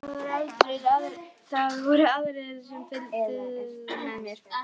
Það voru aðrir sem fylgdu mér.